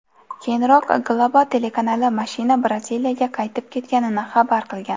Keyinroq Globo telekanali mashina Braziliyaga qaytib ketganini xabar qilgan.